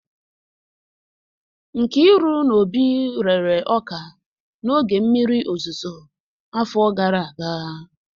Nkiru na Obi riri ọka n'oge mmiri ozuzo, afọ gara aga